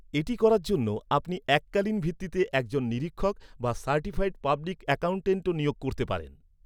এটি করার জন্য আপনি এককালীন ভিত্তিতে একজন নিরীক্ষক বা সার্টিফাইড পাবলিক অ্যাকাউন্ট্যান্টও নিয়োগ করতে পারেন।